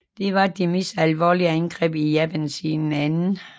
Det var det mest alvorlige angreb i Japan siden 2